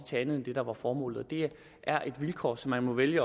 til andet end det der var formålet det er et vilkår som man må vælge